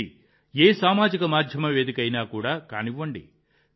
ఇది ఏ సామాజిక మాధ్యమ వేదిక అయినా కానివ్వండి